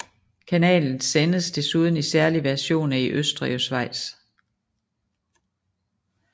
Kanalen sendes desuden i særlige versioner i Østrig og Schweiz